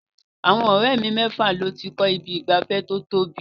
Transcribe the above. Àwọn ọ̀rẹ́ mi mẹ́fà ló ti kọ́ ibi ìgbafẹ́ tó tóbi.